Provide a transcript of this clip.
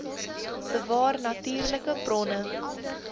bewaar natuurlike bronne